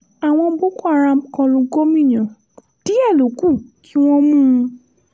àwọn boko haram kọ lu gomina díẹ̀ ló kù kí wọ́n mú un